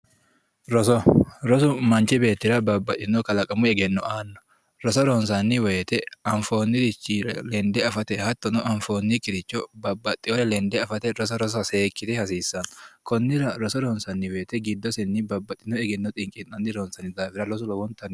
Roso, rosu manchi beettira babbaxino kalaqamu egenno aano, roso ronsanni woyte anfoonikkiricho lende affate hattonno anfoonikkiricho babbaxewore lende affate roso rossa seekkite hasiisano konnira roso ronsanni woyte giddosenni babbaxitino egenno ronsanni daafira rosu lowontanni